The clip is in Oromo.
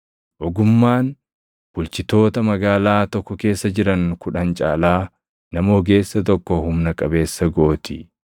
Ogummaan, bulchitoota magaalaa tokko keessa jiran kudhan caalaa nama ogeessa tokko humna qabeessa gooti.